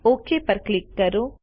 okay પર click કરો